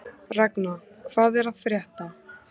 Ragna, hvað er að frétta?